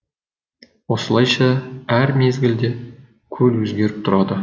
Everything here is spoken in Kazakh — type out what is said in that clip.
осылайша әр мезгілде көл өзгеріп тұрады